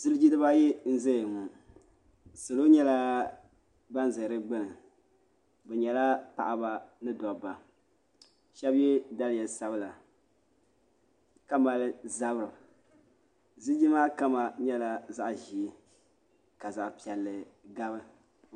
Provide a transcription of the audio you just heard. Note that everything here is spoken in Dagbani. Ziliji di ba ayi n zaya ŋɔ salo nyɛla ban za di gbuni bi nyɛla paɣaba ni dɔbba shɛba yɛ daliya sabila ka mali zabiri ziliji maa kama nyɛla zaɣa ʒee ka zaɣa piɛlli gabi.